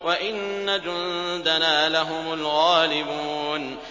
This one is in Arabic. وَإِنَّ جُندَنَا لَهُمُ الْغَالِبُونَ